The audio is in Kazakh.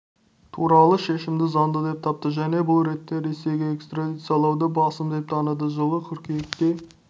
туралы шешімді заңды деп тапты және бұл ретте ресейге экстрадициялауды басым деп таныды жылы қыркүйекте